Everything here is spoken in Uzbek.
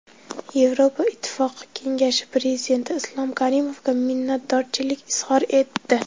Yevropa Ittifoqi Kengashi Prezidenti Islom Karimovga minnatdorchilik izhor etdi.